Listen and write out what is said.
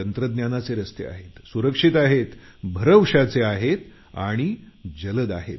तंत्रज्ञानाचे रस्ते आहेत सुरक्षित आहेत भरवशाचे आहेत आणि जलद आहेत